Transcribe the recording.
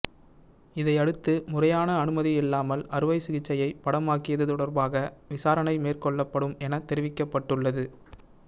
இதையடுத்து முறையான அனுமதி இல்லாமல் அறுவை சிகிச்சையை படமாக்கியது தொடர்பாக விசாரணை மேற்கொள்ளப்படும் என தெரிவிக்கப்பட்டுள்ளது